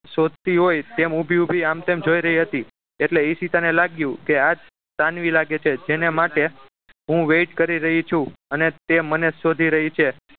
શોધતી હોય તેમ ઊભી ઊભી આમ તેમ જોઈ રહી હતી એટલે ઈશિતા ને લાગ્યું કે આ જ સાનવી લાગે છે જેના માટે હું wait કરી રહી છું અને તે મને જ શોધી રહી છે